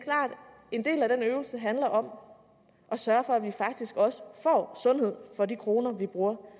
en del af den øvelse handler om at sørge for at vi faktisk også får sundhed for de kroner vi bruger på